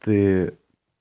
ты